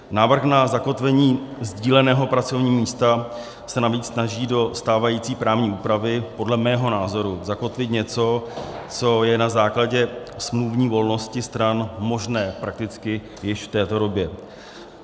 Návrh na zakotvení sdíleného pracovního místa se navíc snaží do stávající právní úpravy podle mého názoru zakotvit něco, co je na základě smluvní volnosti stran možné prakticky již v této době.